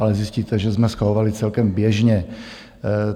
Ale zjistíte, že jsme schvalovali celkem běžně.